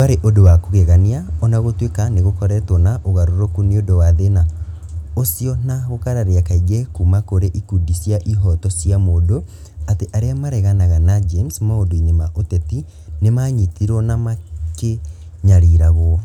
Ndwarĩ ũndũ wa kũgegania, o na gũtuĩka nĩ gũkoretwo na ũgarũrũku nĩ ũndũ wa thĩna ũcio na gũkararia kaingĩ kuuma kũrĩ ikundi cia ihooto cia mũndũ, atĩ arĩa mareganaga na James maũndũ-inĩ ma ũteti nĩ maanyitirũo na makĩnyariragwo.